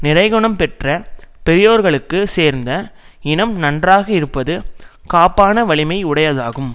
நிறைகுணம் பெற்ற பெரியோர்களுக்கு சேர்ந்த இனம் நன்றாக இருப்பது காப்பான வலிமை உடையதாகும்